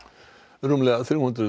rúmlega þrjú hundruð